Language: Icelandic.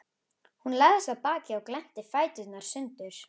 Hún lagðist á bakið og glennti fæturna sundur.